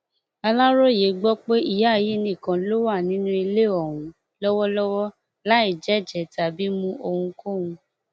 aláròye gbọ pé ìyá yìí nìkan ló wà nínú ilé ọhún lọwọlọwọ láì jẹ jẹ tàbí mú ohunkóhun